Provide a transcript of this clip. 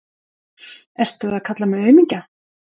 Ert þú að kalla mig aumingja?